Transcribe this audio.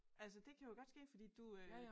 Altså det kan jo godt ske fordi du øh